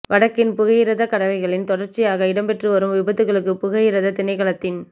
வடக்கின் புகையிரதத் கடவைகளில் தொடர்ச்சியாக இடம்பெற்று வரும் விபத்துக்களுக்கு புகையிரதத் திணைக்களத்தின்